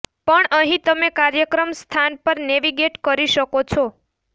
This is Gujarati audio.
પણ અહીં તમે કાર્યક્રમ સ્થાન પર નેવિગેટ કરી શકો છો